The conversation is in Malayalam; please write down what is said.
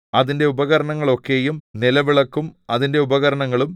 അതിന്റെ ഉപകരണങ്ങളൊക്കെയും നിലവിളക്കും അതിന്റെ ഉപകരണങ്ങളും